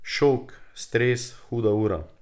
Šok, stres, huda ura.